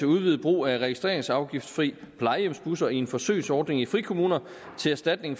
udvidet brug af registreringsafgiftfri plejehjemsbusser i en forsøgsordning i frikommuner til erstatning